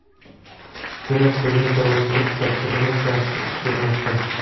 Demak, bizning chorvachilik dasturimiz yaxshi ish bermoqda.